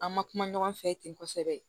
An ma kuma ɲɔgɔn fɛ ten kosɛbɛ